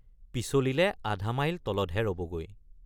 পিছলিলে আধামাইল তলতহে ৰবগৈ।